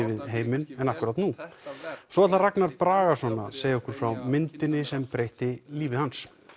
við heiminn en nú og svo ætlar Ragnar Bragason að segja okkur frá myndinni sem breytti lífi hans